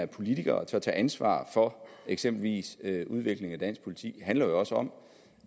politiker og turde tage ansvar for eksempelvis udviklingen af dansk politi handler jo også om